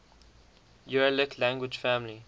uralic language family